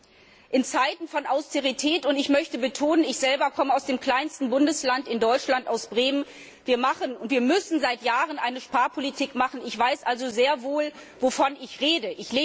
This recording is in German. Wir leben in Zeiten der Austerität, und ich möchte betonen, ich selber komme aus dem kleinsten Bundesland in Deutschland, aus Bremen Wir müssen seit Jahren eine Sparpolitik machen, ich weiß also sehr wohl, wovon ich rede.